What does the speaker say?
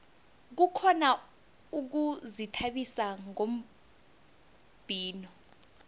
kukhona ukuzithabisa ngombhino